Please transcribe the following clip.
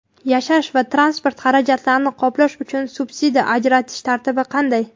yashash va transport xarajatlarini qoplash uchun subsidiya ajratish tartibi qanday?.